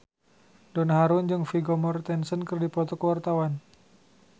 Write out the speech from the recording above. Donna Harun jeung Vigo Mortensen keur dipoto ku wartawan